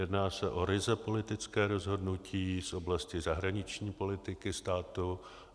Jedná se o ryze politické rozhodnutí z oblasti zahraniční politiky státu.